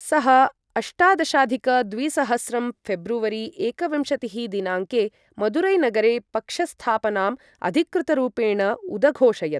सः अष्टादशाधिक द्विसहस्रं फेब्रुवरी एकविंशतिः दिनाङ्के मदुरैनगरे पक्षस्थापनाम् अधिकृतरूपेण उदघोषयत्।